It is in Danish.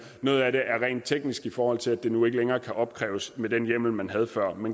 noget af det er rent teknisk i forhold til at det nu ikke længere kan opkræves med den hjemmel man havde før